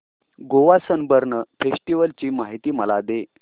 Goa Sunburn festival ची माहिती मला दे